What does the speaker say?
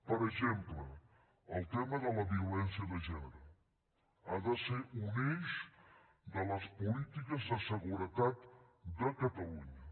per exemple el tema de la violència de gènere ha de ser un eix de les polítiques de seguretat de catalunya